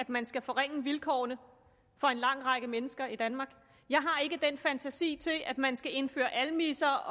at man skal forringe vilkårene for en lang række mennesker i danmark jeg har ikke fantasi til at man skal indføre almisser